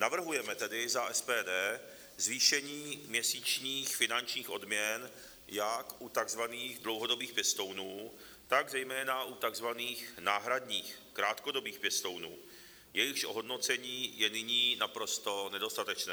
Navrhujeme tedy za SPD zvýšení měsíčních finančních odměn jak u tzv. dlouhodobých pěstounů, tak zejména u tzv. náhradních, krátkodobých pěstounů, jejichž ohodnocení je nyní naprosto nedostatečné.